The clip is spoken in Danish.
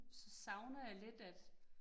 Så savner jeg lidt at